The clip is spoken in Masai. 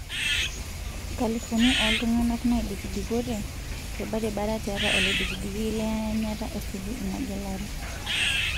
Nkalifuni oltunganak naidikidikote tobaribara tiatua olodikidiki le anyata esuju ina gelare.